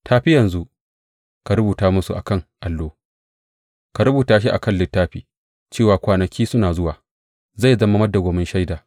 Tafi yanzu, ka rubuta musu a kan allo, ka rubuta shi a kan littafi, cewa kwanaki suna zuwa zai zama madawwamin shaida.